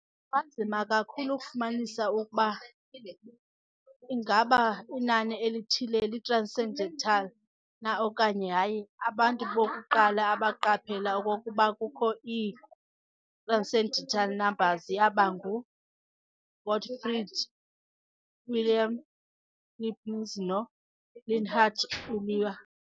Kunganzima kakhulu ukufumanisa okokuba ingaba inani elithile li-transcendental na okanye hayi. Abantu bokuqala abaqaphela okokuba kukho ii-transcendental numbers yaba ngu-Gottfried Wilhelm Leibniz no-Leonhard Euler.